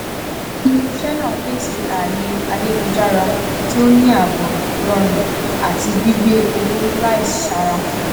iléiṣẹ náà pèsè ààyè ayélujára tí o ní ààbò rọrùn àti gbígbé owó láisára